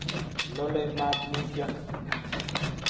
Lolei mat mutyo